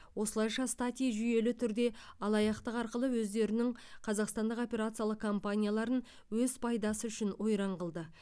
осылайша стати жүйелі түрде алаяқтық арқылы өздерінің қазақстандық операциялық компанияларын өз пайдасы үшін ойран қылды